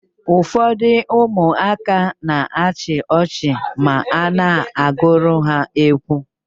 Ụfọdụ ụmụaka na-achị ọchị ma a na-agụrụ ha egwu.